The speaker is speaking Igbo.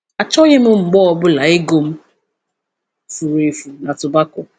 Achọghị m mgbe ọ bụla ego m furu efu na tobako.